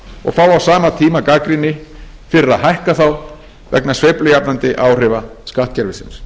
á sama tíma gagnrýni fyrir að hækka þá vegna sveiflujafnandi áhrifa skattkerfisins